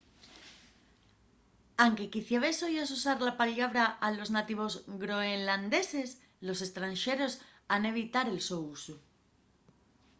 anque quiciabes oyas usar la pallabra a los nativos groenlandeses los estranxeros han evitar el so usu